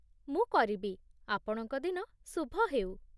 ମୁଁ କରିବି। ଆପଣଙ୍କ ଦିନ ଶୁଭ ହେଉ।